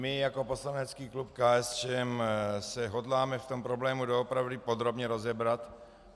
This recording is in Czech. My jako poslanecký klub KSČM se hodláme v tom problému doopravdy podrobně rozebrat.